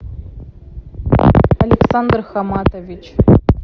александр хаматович